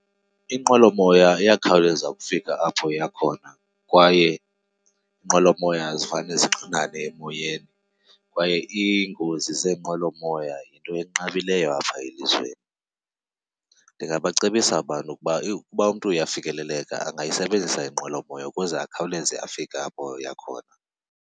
Inqwelomoya iyakhawuleza ukufika apho iya khona kwaye iinqwelomoya azifane zixinane emoyeni kwaye iingozi zeenqwelomoya yinto enqabileyo apha elizweni. Ndingabacebisa abantu ukuba, ukuba umntu uyafikeleleka angayisebenzisa inqwelomoya ukuze akhawuleze afike apho aya khona.